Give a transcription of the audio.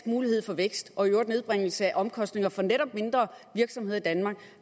mulighed for vækst og i øvrigt nedbringelse af omkostninger for netop mindre virksomheder i danmark